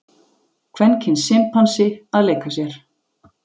kvenkyns simpansi að leika sér